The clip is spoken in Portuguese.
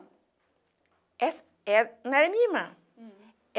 é era Não era a minha irmã.